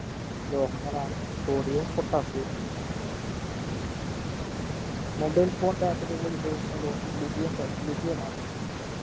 ലോഹങ്ങളാണ് sodium വും potassium വും mobile phone Battery കളിൽ ഉപയോഗിക്കുന്ന ലോഹം lithium ബേ lithium മാണ്